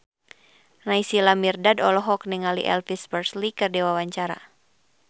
Naysila Mirdad olohok ningali Elvis Presley keur diwawancara